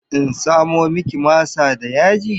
In samo miki masa da yaji?